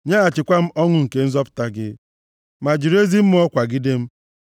Nyeghachikwa m ọṅụ nke nzọpụta gị, ma jiri ezi mmụọ kwagide m.